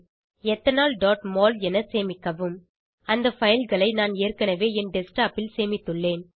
ethanolமோல் என சேமிக்கவும் அந்த fileகளை நான் ஏற்கனவே என் டெஸ்க்டாப் ல் சேமித்துள்ளேன்